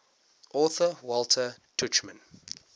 author walter tuchman